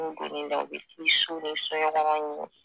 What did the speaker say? N'u donn'i na u bɛ t'i so ni soɲɛkɔnɔ ɲini